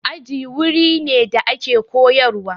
Aji wuri ne da ake koyarwa.